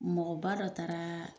Mɔgɔba dɔ taara